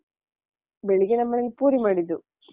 ಬೆಳಿಗ್ಗೆ ನಮ್ಮನೇಲಿ ಪೂರಿ ಮಾಡಿದ್ದು.